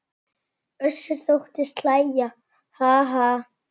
Össur þóttist hlæja:- Ha ha.